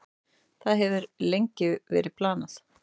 Það hefur verið lengi planið.